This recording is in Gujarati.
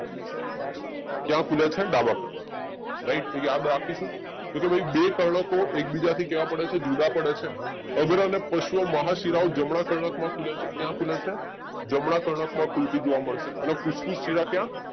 ક્યાં ખુલે છે? તો ડાબા કર્ણક માં રાઈટ તો યાદ રાખીશું તો કે ભાઈ બે કર્ણકો એકબીજાથી કેવા પડે છે? જુદા પડે છે અગ્ર અને પશ્વ મહાશીલાઓ જમણા કર્ણક માં ખુલે છે ક્યાં ખુલે છે? જમણા કર્ણક માં ખુલતી જોવા મળે છે અને ફૂસ્ફૂસ શીલા ક્યાં?